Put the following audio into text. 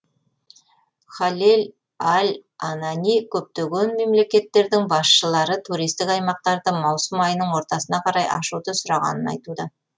халед аль анани көптеген мемлекеттердің басшылары туристік аймақтарды маусым айының ортасына қарай ашуды сұрағанын айтуда